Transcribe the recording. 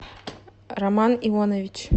роман ионович